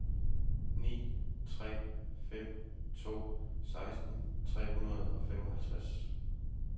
ni tre fem to seksten tre hundrede og femoghalvtreds